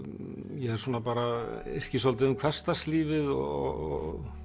ég yrki svolítið um hversdagslífið og